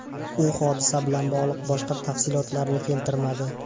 U hodisa bilan bog‘liq boshqa tafsilotlarni keltirmadi.